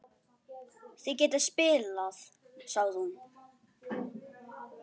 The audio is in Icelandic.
Þið getið spilað, sagði hún.